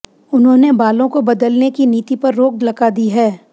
उन्होंने बालों को बदलने की नीति पर रोक लगा दी है